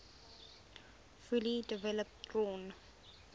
fully developed drawn